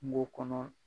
Kungo kɔnɔ